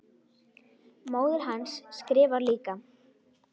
Móðir hans skrifar líka.